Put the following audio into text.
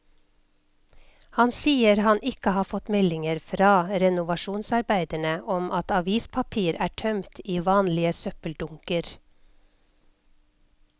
Han sier han ikke har fått meldinger fra renovasjonsarbeiderne om at avispapir er tømt i vanlige søppeldunker.